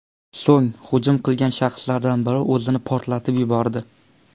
So‘ng hujum qilgan shaxslardan biri o‘zini portlatib yubordi.